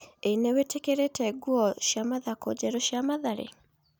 (Mohoro) ĩ nĩ wĩ tĩ kĩ rĩ te nguo cia mathako njerũ cia Mathare?